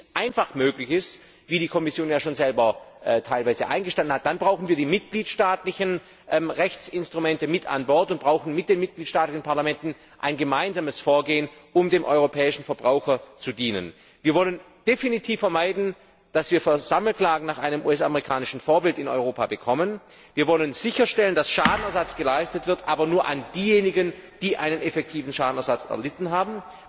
Wenn dies nicht einfach möglich ist wie die Kommission ja bereits selber teilweise eingestanden hat dann brauchen wir die mitgliedstaatlichen Rechtsinstrumente mit an Bord und brauchen mit den mitgliedstaatlichen Parlamenten ein gemeinsames Vorgehen, um dem europäischen Verbraucher zu dienen. Wir wollen definitiv vermeiden, dass wir in Europa Sammelklagen nach US amerikanischem Vorbild bekommen. Wir wollen sicherstellen, dass Schadenersatz geleistet wird, aber nur an diejenigen, die einen effektiven Schaden erlitten haben.